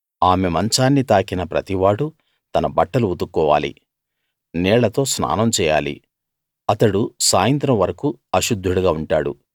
ఆమె మంచాన్ని తాకిన ప్రతి వాడూ తన బట్టలు ఉతుక్కోవాలి నీళ్ళతో స్నానం చేయాలి అతడు సాయంత్రం వరకూ అశుద్ధుడుగా ఉంటాడు